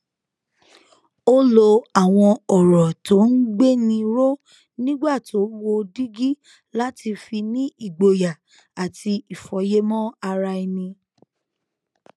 ó lo àwọn òrò tó ń gbéni ró nígbà tó wo dígí láti fi ní ìgboyà àti ìfòyemò ara ẹni